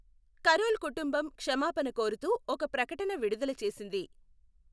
కరోల్ కుటుంబం క్షమాపణ కోరుతూ ఒక ప్రకటన విడుదల చేసింది.